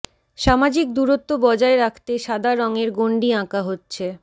সামাজিক দূরত্ব বজায় রাখতে সাদা রঙের গন্ডি আঁকা হচ্ছে